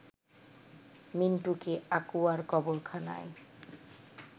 মিন্টুকে আকুয়ার কবরখানায়